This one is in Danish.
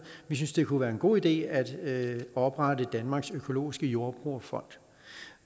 vi synes det kunne være en god idé at oprette danmarks økologiske jordbrugerfond